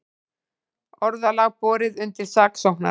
Orðalag borið undir saksóknara